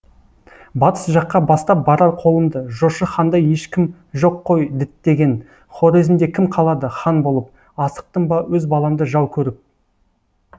батыс жаққа бастап барар қолымды жошы хандай ешкім жоқ қой діттеген хорезмде кім қалады хан болып асықтым ба өз баламды жау көріп